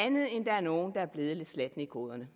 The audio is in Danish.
der er nogle der er blevet lidt slatne i koderne